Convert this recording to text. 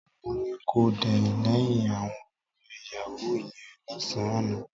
Mo ní kò dẹ̀yìn lẹ́yìn àwọn ọ̀rẹ́ yàwúù yẹn lọ́sàn-án àná